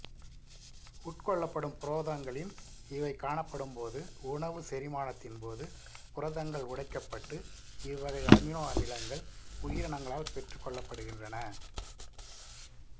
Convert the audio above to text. உட்கொள்ளப்படும் புரதங்களில் இவை காணப்படும்போது உணவு செரிமானத்தின் போது புரதங்கள் உடைக்கப்பட்டு இவ்வகை அமினோ அமிலங்கள் உயிரினங்களால் பெற்றுக் கொள்ளப்படுகின்றன